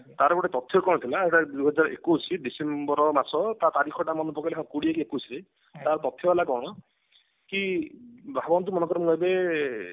ତାର ଗୋଟେ ତଥ୍ୟ କଣ ଥିଲା ସେଟା ଦିହଜାର ଏକୋଇଶି December ମାସ ତା ତାରିଖ ଟା ମନେ ପକେଇଲେ କୋଡିଏ କି ଏକୋଇଶି ରେ ତାର ତଥ୍ୟ ହେଲା କଣ କି ଭାବନ୍ତୁ ମନେକର ମୁଁ ଏବେ